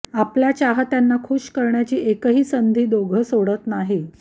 आपल्या चाहत्यांना खूश करण्याची एकही संधी दोघं सोडत नाही